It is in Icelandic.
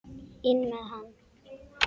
INN MEÐ HANN!